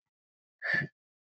Það mæna allir á hana.